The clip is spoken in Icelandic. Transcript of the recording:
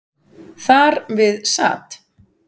Þar við sat.